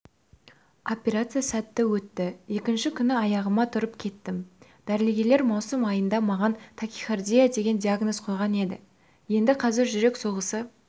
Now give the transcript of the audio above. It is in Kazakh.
операция сәтті өтті екінші күні аяғыма тұрып кеттім дәрігерлер маусым айында маған тахикардия деген диогназ қойған еді енді қазір жүрек соғысы